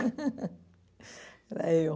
Era eu.